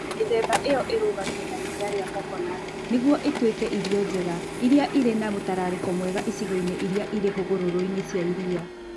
Mĩthemba ĩyo ĩrugagio na iria rĩa coconut nĩguo ĩtuĩke irio njega iria irĩ na mũtararĩko mwega icigo-inĩ iria irĩ hũgũrũrũ-inĩ cia iria.